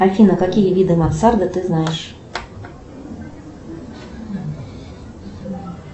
афина какие виды мансарда ты знаешь